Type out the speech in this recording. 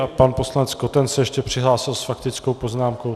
A pan poslanec Koten se ještě přihlásil s faktickou poznámkou.